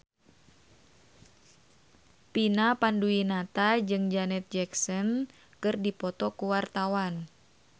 Vina Panduwinata jeung Janet Jackson keur dipoto ku wartawan